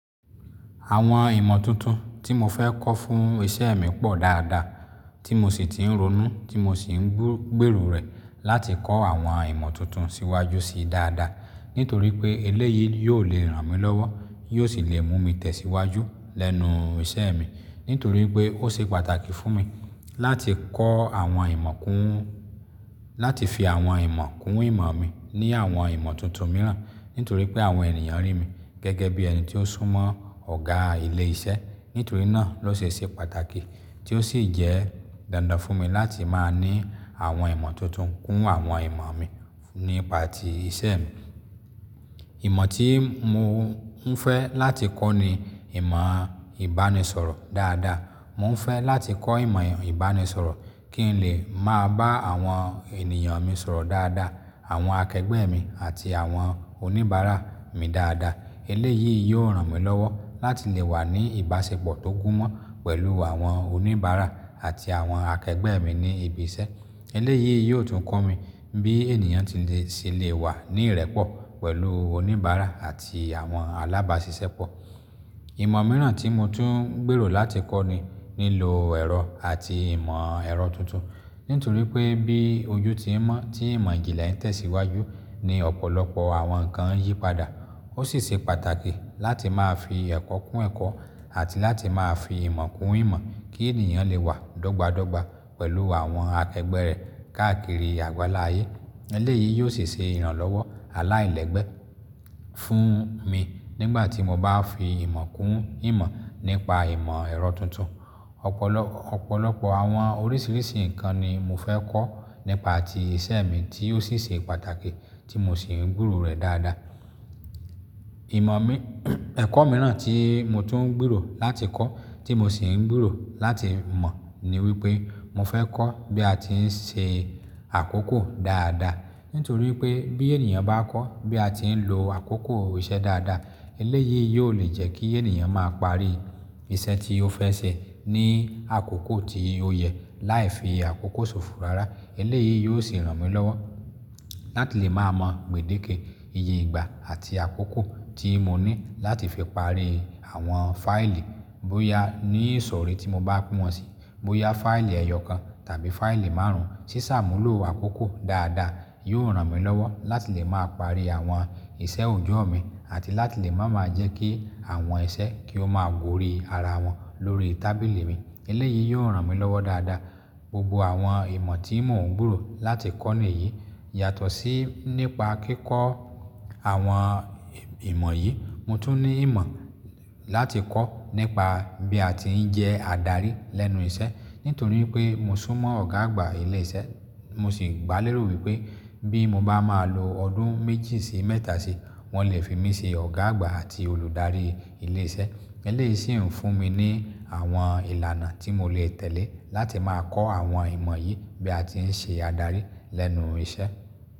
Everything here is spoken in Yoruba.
Àwọn ìmọ̀ tuntun tí mo fẹ́ kọ́ fún ìṣe mi pọ̀ dáadáa tí mo sì ti ń ronú tí mo sì ń gbúgbèrò rẹ̀ láti kọ́ àwọn ìmọ̀ tuntun síwájú síi dáadáa. Nítorí pé eléyìí yóò le ràn mí lọ́wọ́, yóò sì le mú mi tẹ̀síwájú lẹ́nu ìṣe mi. Nítorí pé ó ṣe pàtàkì fún mi láti kọ́ àwọn ìmọ̀ kún, láti fi àwọn ìmọ̀ kún ìmọ̀ mi ní àwọn ìmọ̀ tuntun mìíràn. Nítorí pé àwọn ènìyàn rí mi gẹ́gẹ́ bí ẹni tí ó súnmọ́ ọ̀gá ilé iṣẹ́. Nítorí náà ló ṣe ṣe pàtàkì tí ó sì jẹ́ dandan fún mi láti máa ní àwọn ìmọ̀ tuntun kún àwọn ìmọ̀ mi nípa ti ìṣe mi. Ìmọ̀ tí mo ń fẹ́ láti kọ́ ni ìmọ̀ ìbánisọ̀rọ̀ dáadáa. Mo ń fẹ́ láti kọ́ ìmọ̀ ìbánisọ̀rọ̀ kí n lè máa bá àwọn ènìyàn mi sọ̀rọ̀ dáadáa, àwọn akẹgbẹ́ mi àti àwọn oníbàárà mi dáadáa. Eléyìí yóò ràn mí lọ́wọ́ láti lè wà ní ìbáṣepọ̀ tó kún mó pẹ̀lú àwọn oníbàárà àti àwọn akẹgbẹ́ mi ní ibi iṣẹ́. Eléyìí yóò tún kọ́ mi bí ènìyàn ti lè sì lè wà ní ìrẹ́pọ̀ pẹ̀lú oníbàárà àti àwọn alábáṣiṣẹ́ pọ̀. Ìmọ̀ mìíràn tí mo tún ń gbèrò láti kọ́ ni nílo ẹ̀rọ àti ìmọ̀ ẹ̀rọ tuntun. Nítorí pé bí ojú ti ń mọ́ tí ìmọ̀ ìjìnlẹ̀ ń tẹ̀síwájú ni ọ̀pọ̀lọpọ̀ àwọn nǹkan ń yípadà. Ó sì ṣe pàtàkì láti máa fi ẹ̀kọ́ kún ẹ̀kọ́ àti láti máa fi ìmọ̀ kún ìmọ̀ kí ènìyàn lè wà dọ́gba dọ́gba pẹ̀lú àwọn akẹgbẹ́ rẹ̀ káàkiri àgbáláyé. Eléyìí yóò sì ṣe ìrànlọ́wọ́ aláìlẹ́gbẹ́ fún mi nígbà tí mo bá fi ìmọ̀ kún ìmọ̀ nípa ìmọ̀ ẹ̀rọ tuntun. Ọ̀pọ̀lọpọ̀ àwọn oríṣiríṣi nǹkan ni mo fẹ́ kọ́ nípa ti ìṣe mi tí ó sì ṣe pàtàkì tí mo sì ń gbèrò rẹ̀ dáadáa. Ìmọ̀ mi, ẹ̀kọ́ mìíràn tí mo tún ń gbèrò láti kọ́ tí mo sì ń gbèrò láti mọ̀ ni wípé mo fẹ́ kọ́ bí a ti ń ṣe àkókò dáadáa. Nítorí pé bí ènìyàn bá kọ́ bí a ti ń lo àkókò ìṣe dáadáa, eléyìí yóò le jẹ́ kí ènìyàn máa parí iṣẹ́ tí ó fẹ́ ṣe ní àkókò tí ó yẹ láì fi àkókò sòfò rárá. Eléyìí yóò sì ràn mí lọ́wọ́ láti lè máa mọ gbèdéke iye ìgbà àti àkókò tí mo ní láti fi parí àwọn fáìlì bóyá ní ìsọ̀rí tí mo bá pín wọn síi, bóyá fáìlì ẹyọ kan tàbí fáìlì márùn-ún. Sí ṣàmúlò àkókò dáadáa yóò ràn mí lọ́wọ́ láti lè máa parí àwọn ìṣe òjò mi àti láti lè máa máa jẹ́ kí àwọn iṣẹ́ kí ó máa Guòóri ara wọn lórí tábìlì mi. Eléyìí yóò ràn mí lọ́wọ́ dáadáa. Gbogbo àwọn ìmọ̀ tí mo ń gbèrò láti kọ́ nìyí yàtọ̀ sí nípa kíkọ́ àwọn ìmọ̀ yìí. Mo tún ní ìmọ̀ láti kọ́ nípa bí a ti ń jẹ́ adarí lẹ́nu iṣẹ́. Nítorí pé mo súnmọ́ ọ̀gá àgbà ilé iṣẹ́, mo sì gbálérò wípé bí mo bá máa lo ọdún méjì sí mẹ́ta sí i, wọn lè fi mí ṣe ọ̀gá àgbà àti olùdarí ilé iṣẹ́. Eléyìí sì ń fún mi ní àwọn ìlànà tí mo lè tẹ̀lé láti máa kọ́ àwọn ìmọ̀ yìí bí a ti ń ṣe adarí lẹ́nu iṣẹ́.